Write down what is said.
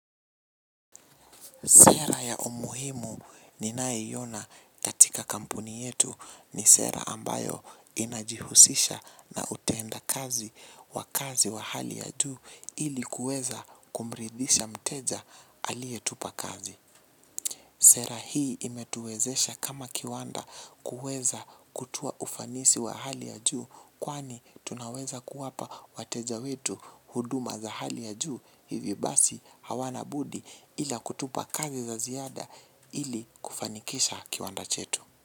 Sera ya umuhimu ninayoiyona katika kampuni yetu ni sera ambayo inajihusisha na utenda kazi wa kazi wa hali ya juu ili kuweza kumridhisha mteja alietupa kazi. Sera hii imetuwezesha kama kiwanda kuweza kutoa ufanisi wa hali ya juu kwani tunaweza kuwapa wateja wetu huduma za hali ya juu hivi basi hawana budi ila kutupa kazi za ziada ili kufanikisha kiwanda chetu.